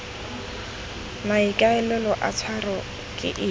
maikaelelo a tshwaro ke eng